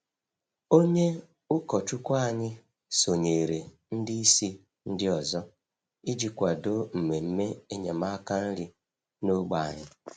Onye ụkọchukwu anyị sonyeere ndị isi ndị ọzọ iji kwado mmemme enyemaka nri n’ógbè anyị.